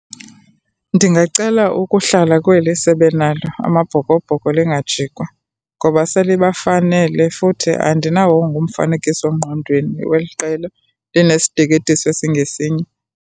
Ndingacela ukuhlala kweli sebenalo, AmaBhokoBhoko, lingajikwa ngoba selibafanele futhi andinawongo umfanekisongqondweni weli qela linesiteketiso esingesinye.